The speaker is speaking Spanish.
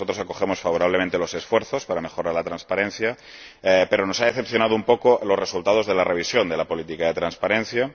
Nosotros acogemos favorablemente los esfuerzos para mejorar la transparencia, pero nos han decepcionado un poco los resultados de la revisión de la política de transparencia.